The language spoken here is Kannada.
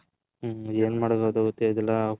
ಎನ್ ಮಾಡದ ಅದು ಗೊತ್ತೇ ಆಗಿಲ್ಲ .